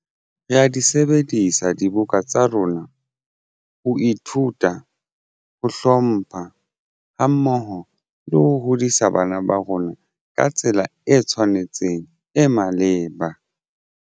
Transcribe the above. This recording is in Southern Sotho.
Re ya di sebedisa dibuka tsa rona ho ithuta ho hlompha ha mmoho le ho hodisa bana ba rona ka tsela e tshwanetseng e maleba.